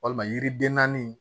Walima yiri den naani